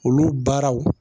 Olu baaraw